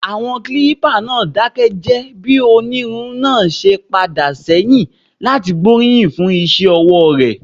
Àwọn agbábọ́ọ̀lù náà dákẹ́ jẹ́ẹ́ bí onírun náà ṣe ń padà sẹ́yìn láti gbóríyìn fún iṣẹ́ ọwọ́ rẹ̀.